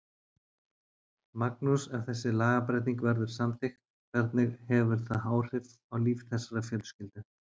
Magnús, ef þessi lagabreyting verður samþykkt, hvernig hefur það áhrif á líf þessarar fjölskyldu?